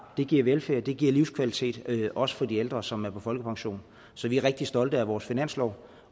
giver velfærd de giver livskvalitet også for de ældre som er på folkepension så vi er rigtig stolte af vores finanslov